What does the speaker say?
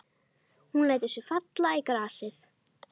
Hún lætur sig falla í grasið.